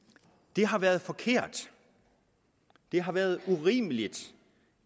det har været forkert og det har været urimeligt